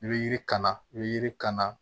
I bɛ yiri kana i bɛ yiri kana